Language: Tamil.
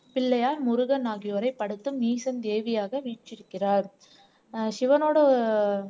பிள்ளையார் முருகன் ஆகியோரை படைத்தும் ஈசன் தேவியாக வீற்றிருக்கிறார் ஆஹ் சிவனோட